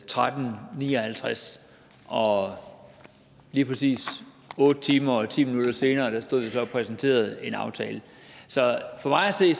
tretten ni og halvtreds og lige præcis otte timer og ti minutter senere stod vi så og præsenterede en aftale så for mig at se